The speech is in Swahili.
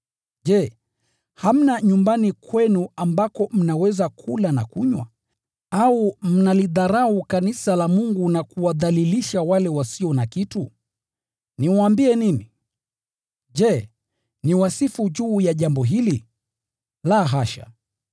Je, hamna nyumbani kwenu ambako mnaweza kula na kunywa? Au mnalidharau kanisa la Mungu na kuwadhalilisha wale wasio na kitu? Niwaambie nini? Je, niwasifu juu ya jambo hili? La, hasha!